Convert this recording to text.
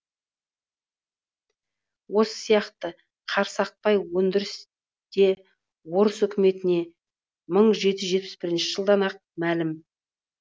осы сияқты қарсақпай өндірісі де орыс өкіметіне мың жеті жүз жетпіс бірінші жылдан ақ мәлім